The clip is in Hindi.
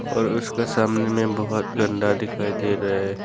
और उसके सामने में बहुत गंदा दिखाई दे रहा है।